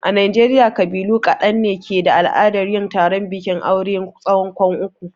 A najeriya ƙabilu ƙadan ne ke da al'adar yin taron bikin aure tsawon kwan uku.